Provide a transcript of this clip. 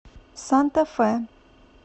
санта фе